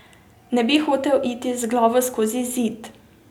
Ne bi hotel iti z glavo skozi zid.